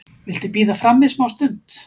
Viltu bíða frammi smástund?